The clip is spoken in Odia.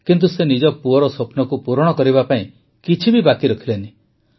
କିନ୍ତୁ ସେ ନିଜ ପୁଅର ସ୍ୱପ୍ନକୁ ପୂରଣ କରିବା ପାଇଁ କିଛି ବାକି ରଖିଲେ ନାହିଁ